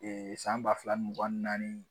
san ba fila mugan ni naani